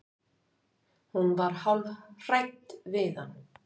Hún var hálf hrædd við hann.